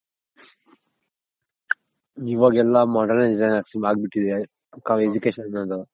ಇವಾಗೆವಲ್ಲ modernisation ಆಗ್ ಬಿಟ್ಟಿದೆ Education